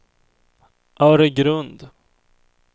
Öregrund